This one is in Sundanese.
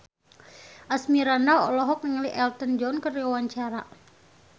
Asmirandah olohok ningali Elton John keur diwawancara